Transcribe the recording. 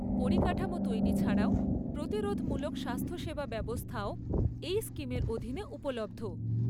পরিকাঠামো তৈরি ছাড়াও প্রতিরোধমূলক স্বাস্থ্যসেবা ব্যবস্থাও এই স্কিমের অধীনে উপলব্ধ।